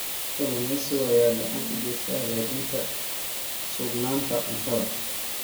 Kalluumeysiga ayaa gacan ka geysta hagaajinta sugnaanta cuntada.